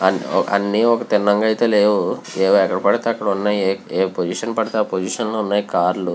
అని తిన్నగా యత లేవు ఇలా ఎక్కడ పడుతే అక్కడ వున్నాయ్. ఆ పోసిషన్ పడుతే అ పోసిషన్ లో వున్నాయ్. కార్ లు--